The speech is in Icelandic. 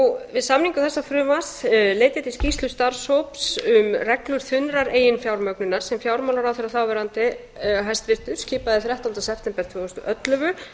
við samningu þessa frumvarps leit ég til skýrslu starfshóps um reglur þunnrar eiginfjármögnunar sem fjármálaráðherra þáverandi hæstvirtur skipaði þrettánda september tvö þúsund og ellefu